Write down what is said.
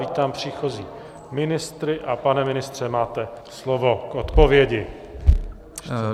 Vítám příchozí ministry, a pane ministře, máte slovo k odpovědi.